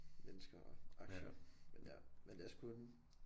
Mennesker og aktier men ja men det er sgu underligt